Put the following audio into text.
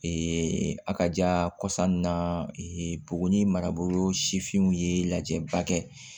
a ka kɔsa nun na buguni marabolo sifinw ye lajɛba kɛ